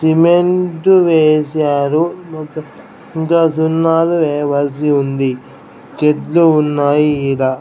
Cement వేశారు ఇంకా సున్నాలు వేయవలసి ఉంది చెట్లు ఉన్నాయి ఈడ.